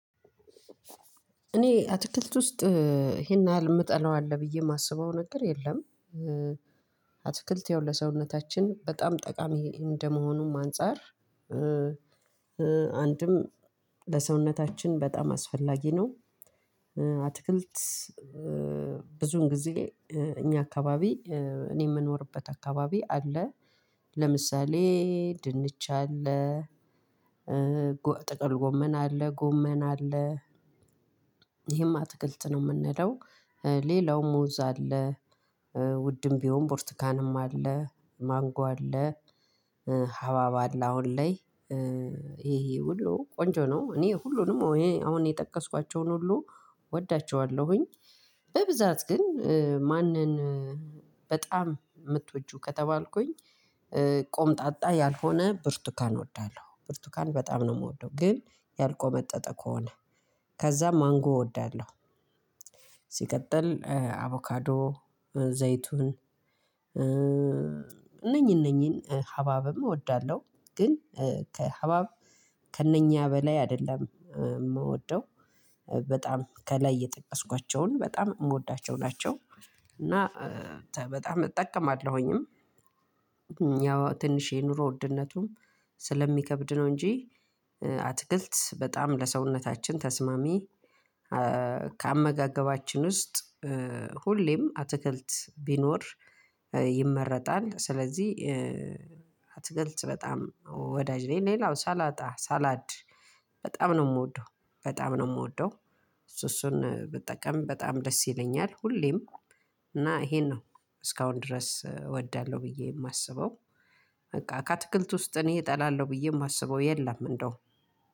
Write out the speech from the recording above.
እኔ አትክልት ውስጥ ይሄን ያህል የምጠላው አለ ብዬ የማስበው ነገር የለም። አትክልት ያው ለሰውነታችን በጣም ጠቃሚ እንደመሆኑም አንፃር አንድም ለሰውነታችን በጣም አስፈላጊ ነው። አትክልት ብዙውን ጊዜ እኛ አካባቢ እኔ የምኖርበት አካባቢ አለ። ለምሳሌ ድንች አለ፣ ጥቅል ጎመን አለ፣ ጎመን አለ። ይሄም አትክልት ነው የምንለው። ሌላው ሙዝ አለ ውድም ቢሆን ብርቱካንም አለ፣ ማንጎ አለ፣ ሀብሀብ አለ አሁን ላይ። ይሄ ሁሉ ቆንጆ ነው። እኔ ሁሉንም አሁን የጠቀስኳቸውን ሁሉ እወዳቸዋለሁኝ። በብዛት ግን ማንን በጣም የምትወጂው ከተባልኩኝ ኮምጣጣ ያልሆነ ብርቱካን እወዳለሁ። ብርቱካን በጣም ነው የምወደው። ግን ያልኮመጠጠ ከሆነ። ከዛ ማንጎ እወዳለሁ። ሲቀጥል አቮካዶ፣ ዘይቱን እነኚህ እነኚህን ሀብሀብም እወዳለሁ። ግን ሀብሀብ ከእነኛ በላይ አይደለም የምወደው። በጣም ከላይ የጠቀስኳቸውን በጣም የምወዳቸው ናቸው። እና በጣም እጠቀማለሁኝም። ያው ትንሽ የኑሮ ውድነቱም ስለሚከብድ ነው እንጂ አትክልት በጣም ለሰውነታችን ተስማሚ ከአመጋገባችን ውስጥ ሁሌም አትክልት ቢኖር ይመረጣል። ስለዚህ አትክልት በጣም ወዳጅ ነኝ። ሌላው ሳላጣ ሳላድ በጣም ነው የምወደው። በጣም ነው የምወደው። እሱ እሱን ብጠቀም በጣም ደስ ይለኛል ሁሌም። እና ይሄ ነው እስካሁን ድረስ እወዳለሁ ብዬ የማስበው። በቃ ከአትክልት ውስጥ እኔ እጠላለሁ ብዬ የማስበው የለም እንደውም